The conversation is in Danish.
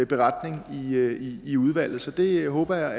beretning i udvalget så det håber jeg